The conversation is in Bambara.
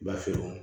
B'a feere